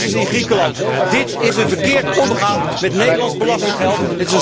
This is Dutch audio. Tot crisis in Griekenland. Dit is een verkeerd omgaan met Nederlands belastinggeld.